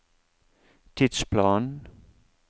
tidsplanen